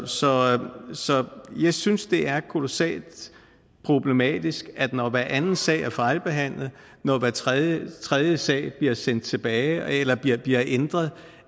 så jeg synes at det er kolossalt problematisk at vi når hver anden sag er fejlbehandlet når hver tredje tredje sag bliver sendt tilbage eller bliver bliver ændret